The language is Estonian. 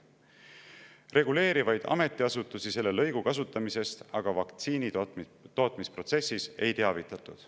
Reguleerivaid ametiasutusi selle lõigu kasutamisest vaktsiinitootmisprotsessis aga ei teavitatud.